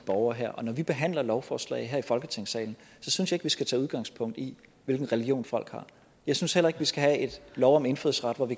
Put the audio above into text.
borgere her og når vi behandler lovforslag her i folketingssalen så synes jeg vi skal tage udgangspunkt i hvilken religion folk har jeg synes heller ikke vi skal have en lov om indfødsret hvor vi